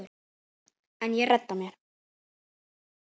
En ég redda mér.